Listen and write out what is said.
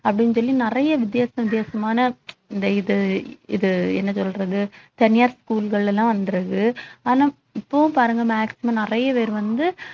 அப்படின்னு சொல்லி நிறைய வித்தியாச வித்தியாசமான இந்த இது இது என்ன சொல்றது தனியார் school கள்ல எல்லாம் வந்துடுது ஆனா இப்பவும் பாருங்க maximum நிறைய பேர் வந்து